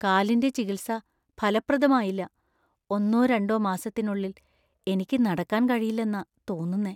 കാലിന്‍റെ ചികിത്സ ഫലപ്രദമായില്ല. ഒന്നോ രണ്ടോ മാസത്തിനുള്ളിൽ എനിക്ക് നടക്കാൻ കഴിയില്ലെന്നാ തോന്നുന്നേ.